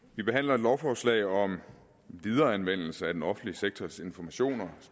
vi behandler et lovforslag om videreanvendelse af den offentlige sektors informationer